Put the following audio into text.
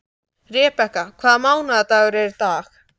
Rebekka, hvaða mánaðardagur er í dag?